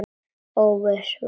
Óvissan var horfin.